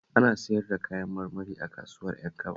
Ina siyar da Kayan marmari a kasuwar Ƴankaba